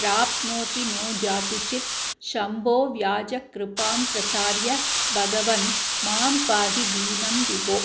प्राप्नोति नो जातुचित् शम्भोऽव्याजकृपां प्रसार्य भगवन् मां पाहि दीनं विभो